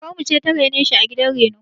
Kakar mu ce ta rene shi a gidan reno.